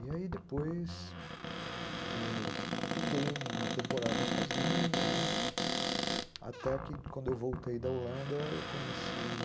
E aí, depois, ãh, fiquei uma temporada sozinho, né, até que quando eu voltei da Holanda, eu conheci